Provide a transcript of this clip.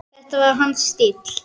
Þetta var hans stíll.